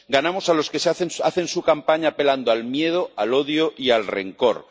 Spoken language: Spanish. ganamos a los que hacen su campaña apelando al miedo, al odio y al rencor.